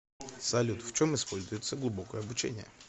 салют в чем используется глубокое обучение